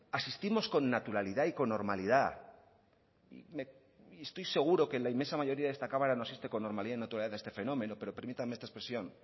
asistimos con naturalidad y con normalidad estoy seguro que la inmensa mayoría de esta cámara no asiste con normalidad y naturalidad a este fenómeno pero permítanme esta expresión